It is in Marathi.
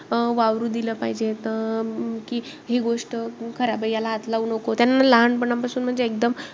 अं वावरू दिल पाहिजे. त अं की हि गोष्ट करा. याला हात लावू नको. त्यांना लहानपणापासून म्हणजे एकदम,